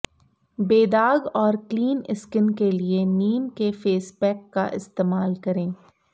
बेदाग और clean skin के लिए नीम के फेस पैक का इस्तेमाल करें